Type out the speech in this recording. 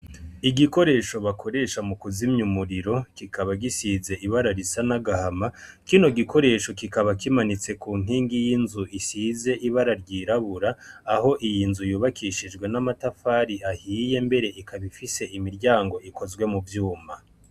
Igikoresho bakoresha mu kuzimya umuriro kikaba gisize ibara risa n'agahama kino gikoresho kikaba kimanitse ku ntingi y'inzu isize ibara ryirabura aho iyi nzu yubakishijwe n'amatafari ahiye mbere ikabifise imiryango ikozwe mu vyuma.